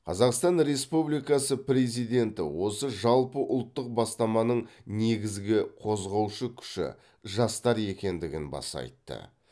қазақстан республикасы президенті осы жалпыұлттық бастаманың негізгі қозғаушы күші жастар екендігін баса айтты